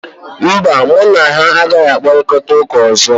mba, mụ na ya agaghị akparịta ụka ọzọ